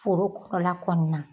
Foro kɔrɔla kɔni na